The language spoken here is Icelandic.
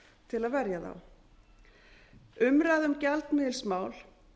til að verja þá umræða um gjaldmiðilsmál